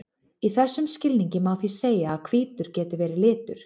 Í þessum skilningi má því segja að hvítur geti verið litur.